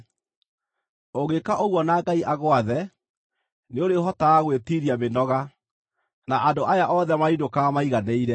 Ũngĩka ũguo na Ngai agwathe, nĩũrĩhotaga gwĩtiiria mĩnoga, na andũ aya othe marĩinũkaga maiganĩire.”